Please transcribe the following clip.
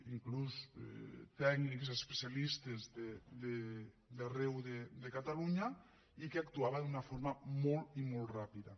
inclús tècnics i especialistes d’arreu de catalunya i que actuava d’una forma molt i molt ràpida